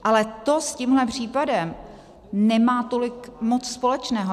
Ale to s tímhle případem nemá tolik moc společného.